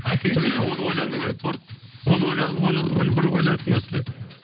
айта кетсеңші енді білмеймін оны ойлану керек торт оны ойлан оны бір ойланатын мәселе